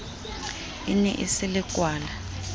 e ne e se lekwala